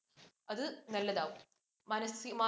അത് നല്ലതാവും. മാനസി